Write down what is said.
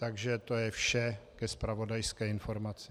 Takže to je vše ke zpravodajské informaci.